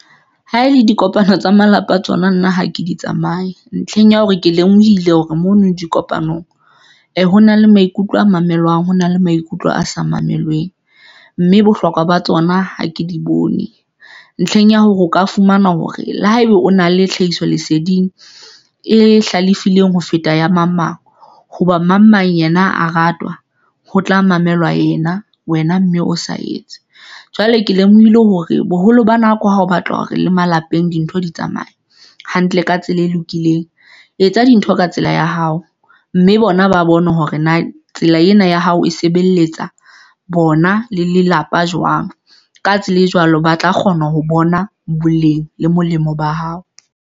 Ha e le dikopano tsa malapa a tsona, nna ha ke di tsamaya ntlheng ya hore ke lemohile hore mono dikopanong hona le maikutlo a mamelwang, ho na le maikutlo a sa mamelweng, mme bohlokwa ba tsona ha ke di bone ntlheng ya hore o ka fumana hore le haeba o na le tlhahiso leseding e hlalefileng ho feta ya mang, mang, hoba mang mang yena a ratwa ho tla mamelwa ena. Wena mme o sa etse jwale, ke lemohile hore boholo ba nako ha o batla hore le malapeng dintho di tsamaya hantle ka tsela e lokileng. Etsa dintho ka tsela ya hao, mme bona ba bone hore na tsela ena ya hao e sebeletsa bona le lelapa jwang. Ka tsela e jwalo, ba tla kgona ho bona boleng le molemo ba hao.